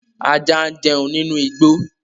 Ajá ń jẹun nínú igbó